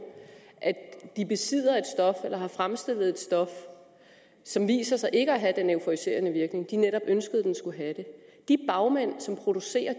at de besidder et stof eller har fremstillet et stof som viser sig ikke at have den euforiserende virkning som de netop ønskede det skulle have de bagmænd som producerer